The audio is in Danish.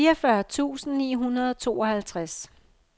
fireogfyrre tusind ni hundrede og tooghalvtreds